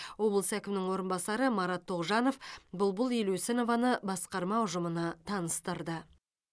облыс әкімінің орынбасары марат тоғжанов бұлбұл елеусінованы басқарма ұжымына таныстырды